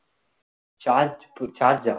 charge